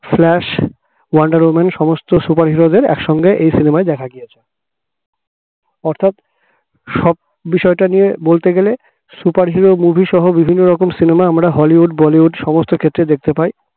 flash wonder woman সমস্ত superhero দের একসঙ্গে এই cinema য় দেখা গিয়েছে অর্থাৎ সব বিষয়টা নিয়ে বলতে গেলে superhero movie সহ বিভিন্ন রকম cinema আমরা হলিউড বলিউড সমস্ত ক্ষেত্রে দেখতে পাই